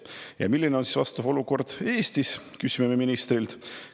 Ja milline on vastav olukord Eestis, küsime me ministrilt.